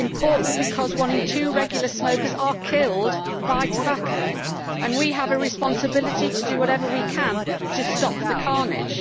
It is important because one in two regular smokers are killed by tobacco and we have a responsibility to do whatever we can to stop the carnage.